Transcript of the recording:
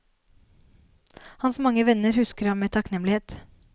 Hans mange venner husker ham med takknemlighet.